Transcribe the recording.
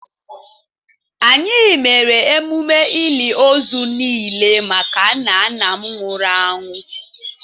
Anyị mere emume ili ozu niile maka nna nna m nwụrụ anwụ